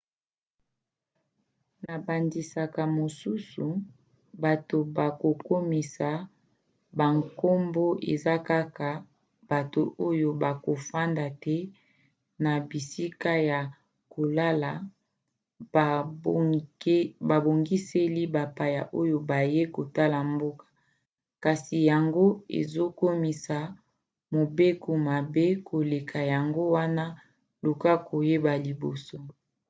na bandakisa mosusu bato bakokomisa bankombo eza kaka bato oyo bakofanda te na bisika ya kolala babongiseli bapaya oyo bayei kotala mboka. kasi yango ezokomisa mobeko mabe koleka yango wana luka koyeba liboso